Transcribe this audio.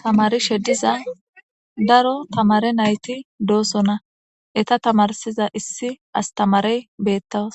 tamari shediza daro tamare nayti doosonna eta tamarsiza issi astamarey beettas